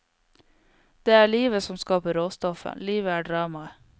Det er livet som skaper råstoffet, livet er dramaet.